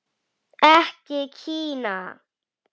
Ekki Kína.